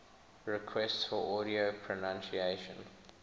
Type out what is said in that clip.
requests for audio pronunciation